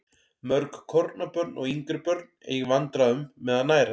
Mörg kornabörn og yngri börn eiga í vandræðum með að nærast.